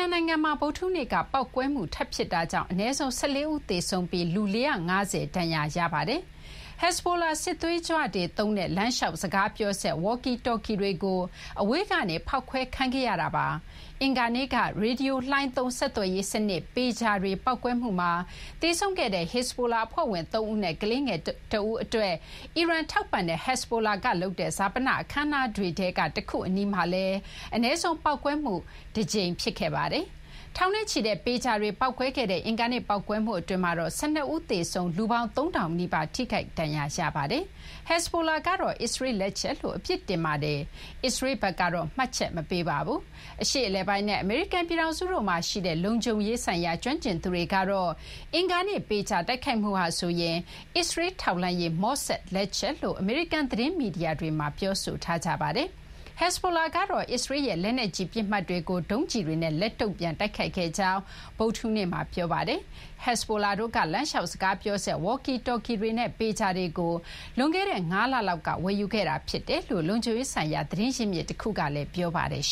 န်နိုင်ငံမှာ ဗုဒ္ဓဟူးနေ့က ပေါက်ကွဲမှုထပ်ဖြစ်တာကြောင့် အနည်းဆုံး ၁၄ ဦး သေဆုံးပြီး လူ ၄၅၀ လောက် ဒဏ်ရာရခဲ့ပါတယ်။ Hezbollah စစ်သွေးကြွတွေသုံးတဲ့ လမ်းလျှောက်စကားပြောစက် (walkie-talkie) တွေကို အဝေးကနေ ဖောက်ခွဲခံခဲ့ရတာပါ။ အင်္ဂါနေ့က ရေဒီယိုလှိုင်းသုံး ဆက်သွယ်ရေးစနစ် ပေဂျာတွေပေါက်ကွဲမှုမှာ သေဆုံးခဲ့ရတဲ့ Hezbollah အဖွဲ့ဝင် ၃ ဦးနဲ့ ကလေးငယ်တဦး အတွက် အီရန်ထောက်ပံ့တဲ့ Hezbollah က လုပ်တဲ့ ဈာပနအခမ်းအနားတွေထဲကတခုအနီးမှာလည်း အနည်းဆုံး ပေါက်ကွဲမှုတကြိမ် ဖြစ်ခဲ့ပါတယ်။ ထောင်နဲ့ချီတဲ့ပေဂျာတွေ ပေါက်ကွဲခဲ့တဲ့ အင်္ဂါနေ့ ပေါက်ကွဲမှုအတွင်း ၁၂ ဦး သေဆုံးခဲ့ပြီး လူပေါင်း ၃,၀၀၀ နီးပါး ထိခိုက်ဒဏ်ရာရခဲ့ပါတယ်။ Hezbollah ကတော့ အစ္စရေးလ် လက်ချက်လို့ အပြစ်တင်ပါတယ်။ အစ္စရေးလ်ဘက်ကတော့ မှတ်ချက်မပေးပါဘူး။ အရှေ့အလယ်ပိုင်းနဲ့ အမေရိကန်ပြည်ထောင်စုတို့မှာ ရှိတဲ့ လုံခြုံရေး ကျွမ်းကျင်သူတွေကတော့ အင်္ဂါနေ့ ပေဂျာတိုက်ခိုက်မှုဟာဆိုရင် ‘အစ္စရေးလ်ထောက်လှမ်းရေး မော့ဆာဒ့်’ လက်ချက်လို့ အမေရိကန် သတင်းမီဒီယာတွေမှာ ပြောဆိုထားကြပါတယ်။ Hezbollah ကတော့ အစ္စရေးလ်ရဲ့ လက်နက်ကြီးပစ်မှတ်တွေကို ဒုံးကျည်တွေနဲ့ လက်တုံ့ပြန်တိုက်ခိုက်ခဲ့ကြောင်း ဗုဒ္ဓဟူးနေ့မှာ ပြောပါတယ်။ Hezbollah တို့က လမ်းလျှောက် စကားပြောစက် walkie-talkie တွေနဲ့ ပေဂျာတွေကို လွန်ခဲ့တဲ့ ၅ လ လောက်က ဝယ်ယူခဲ့တာဖြစ်တယ်လို့ လုံခြုံရေး ဆိုင်ရာ သတင်းရင်းမြစ်တခုက ပြောပါတယ်။